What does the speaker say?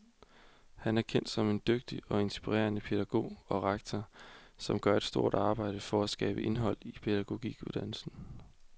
Han er kendt som en dygtig og inspirerende pædagog og rektor, som gør et stort arbejde for at skabe indhold i pædagoguddannelsen.